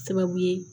Sababu ye